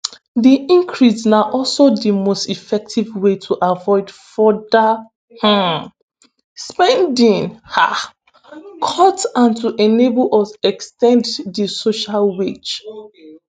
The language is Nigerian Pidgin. "di increase na also di most effective way to avoid further um spending um cuts and to enable us ex ten d di social wage.